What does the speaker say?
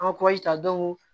An bɛ ta